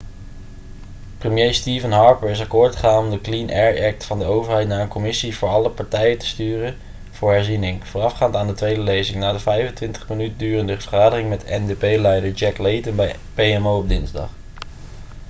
premier stephen harper is akkoord gegaan om de clean air act' van de overheid naar een commissie voor alle partijen te sturen voor herziening voorafgaand aan de tweede lezing na de 25 minuten durende vergadering met ndp-leider jack layton bij pmo op dinsdag